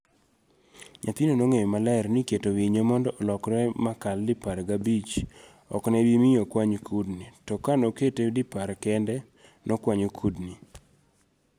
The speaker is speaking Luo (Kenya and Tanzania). Nyathino nong'eyo maler niketo winyo mondo olokre makal dipar gabich okne bimi okwany kudni to kanokete dipar kende ,nokwanyo kudni.